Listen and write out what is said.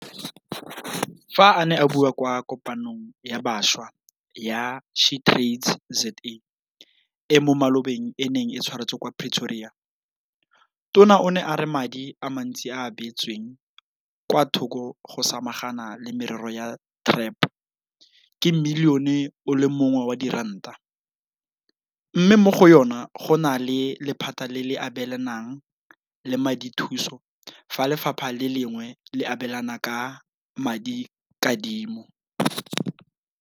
Fa a ne a bua kwa Kopanong ya Bašwa ya SheTradesZA e mo malobeng e neng e tshwaretswe kwa Pretoria, Tona o ne a re madi a mantsi a a beetsweng kwa thoko go samagana le merero ya TREP ke Milione o le mongwe wa diranta, mme mo go yona go na le lephata le le abelanang ka madithuso fa lephata le lengwe le abelana ka madikadimo.